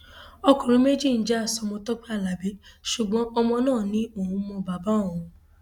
ọkùnrin méjì ń já sọmọ tọpẹ alábí ṣùgbọn ọmọ náà ni òun mọ bàbá òun